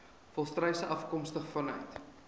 volstruise afkomstig vanuit